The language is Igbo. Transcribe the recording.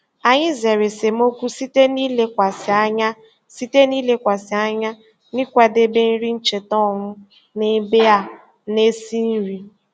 Anyị zere esemokwu site n'ilekwasị anya site n'ilekwasị anya n'ịkwadebe nri ncheta ọnụ n'ebe a na-esi nri.